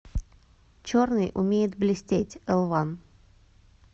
черный умеет блестеть элван